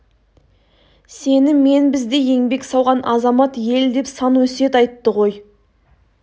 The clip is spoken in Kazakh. сені мен біздей еңбек сауған азамат ел деп сан өсиет айтты ғой